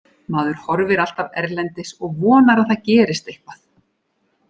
Maður horfir alltaf erlendis og vonar að það gerist eitthvað.